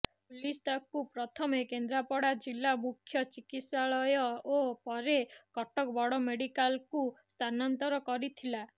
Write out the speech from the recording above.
police ତାକୁ ପ୍ରଥମେ କେନ୍ଦ୍ରାପଡ଼ା ଜିଲ୍ଲା ମୁଖ୍ୟ ଚିକିତ୍ସାଳୟ ଓ ପରେ କଟକ ବଡ଼ ମେଡ଼ିକାଲକୁ ସ୍ଥାନାନ୍ତର କରିଥିଲା